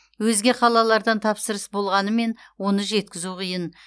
өзге қалалардан тапсырыс болғанымен оны жеткізу қиын